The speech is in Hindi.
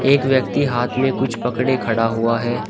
एक व्यक्ति हाथ में कुछ पकड़े खड़ा हुआ है।